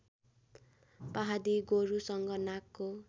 पहाडी गोरुसँग नाकको